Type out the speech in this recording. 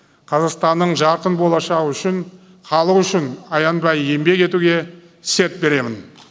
қазақстанның жарқын болашағы үшін халық үшін аянбай еңбек етуге серт беремін